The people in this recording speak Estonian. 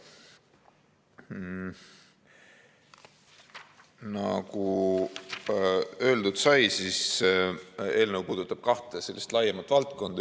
Nagu öeldud sai, siis eelnõu puudutab kahte laiemat valdkonda.